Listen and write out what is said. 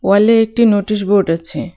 ওয়ালে একটি notice board আছে.